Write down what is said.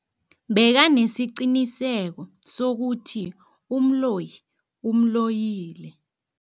Bekanesiqiniseko sokuthi umloyi umloyile.